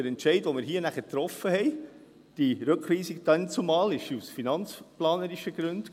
Der Entscheid, den wir damals trafen – die Rückweisung –, fiel aus finanzplanerischen Gründen.